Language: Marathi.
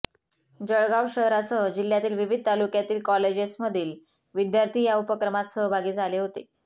जळगाव शहरासह जिल्ह्यातील विविध तालुक्यातील कॉलेजेसमधील विद्यार्थी या उपक्रमात सहभागी झाले होते